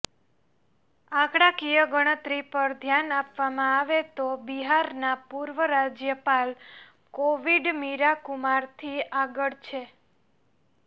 આંકડાકીય ગણતરી પર ધ્યાન આપવામાં આવે તો બિહારના પૂર્વ રાજ્યપાલ કોવિંદ મીરાકુમારથી આગળ છે